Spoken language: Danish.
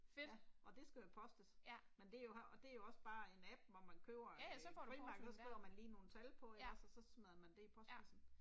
Ja. Og det skal jo postes. Men det er jo og det er jo også bare en app hvor man køber en et frimærke og så skriver man lige nogle tal på ikke også og så smider man det i postkassen